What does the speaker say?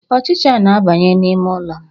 Ọchịcha na-abanye n'ime ụlọ m.